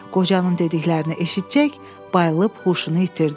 Qocanın dediklərini eşitcək, bayılıb huşunu itirdi.